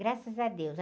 Graças a Deus.